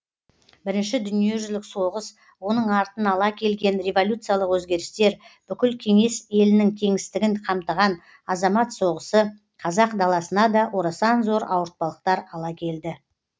бірінші дүниежүзілік соғыс оның артын ала келген революциялық өзгерістер бүкіл кеңес елінің кеңістігін қамтыған азамат соғысы қазақ даласына да орасан зор ауыртпалықтар ала келді